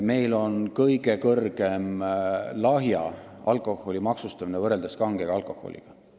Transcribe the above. Meil on kõige suurem lahja alkoholi maksustamine võrreldes kange alkoholiga.